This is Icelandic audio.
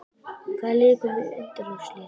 Hvaða lið komast í undanúrslit?